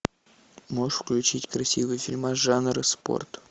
можешь включить красивый фильмас жанра спорт